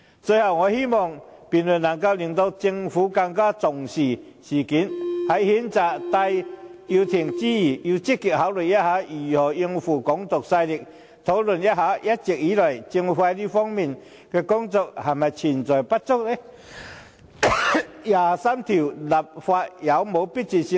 最後，我希望這項辯論能令政府更加重視事件，在譴責戴耀廷之餘，亦要積極考慮如何應付"港獨"勢力，並檢討一直以來，政府在這方面的工作是否不足？第二十三條立法有否迫切性？